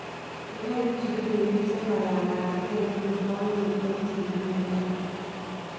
Kinai kipchikilinik chemayamatkei nekikwong'en en chikilet noton.